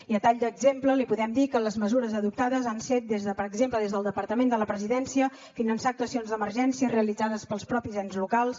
i a tall d’exemple li podem dir que les mesures adoptades han set per exemple des del departament de la presidència finançar actuacions d’emergència realitzades pels mateixos ens locals